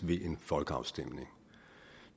ved en folkeafstemning